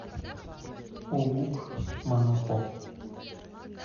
улукманапо